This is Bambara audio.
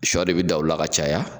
Siyɔ de bɛ dan u la ka caya.